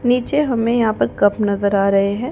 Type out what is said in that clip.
नीचे हमें यहां पर कप नजर आ रहे हैं।